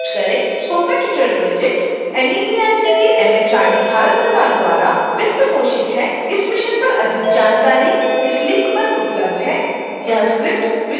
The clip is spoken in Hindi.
spoken tutorial project NMEICT MHRD Bharat सरकार द्वारा वित्त पोषित है इस mission पर अधिक जानकारी इस link पर उपलब्ध है